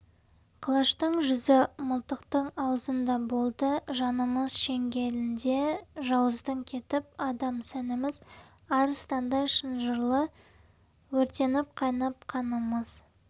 қылыштың жүзі мылтықтың аузында болды жанымыз шеңгелінде жауыздың кетіп адам сәніміз арыстандай шынжырлы өртеніп қайнап қанымыз